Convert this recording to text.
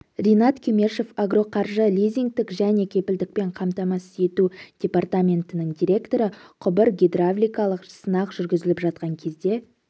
ринат кемешов агроқаржы лизингтік және кепілдікпен қамтамассыз ету департаментінің директоры құбыр гидравликалық сынақ жүргізіліп жатқан кезде